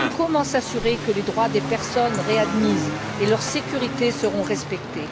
Comment s'assurer que les droits des personnes réadmises et leur sécurité seront respectés?